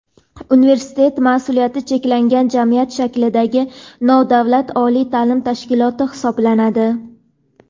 Universitet mas’uliyati cheklangan jamiyat shaklidagi nodavlat oliy ta’lim tashkiloti hisoblanadi.